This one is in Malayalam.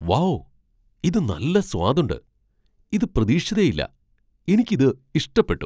വൗ ! ഇത് നല്ല സ്വാദുണ്ട് , ഇത് പ്രതീക്ഷിച്ചതേയില്ല. എനിക്ക് ഇത് ഇഷ്ടപ്പെട്ടു.